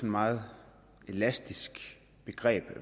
meget elastisk begreb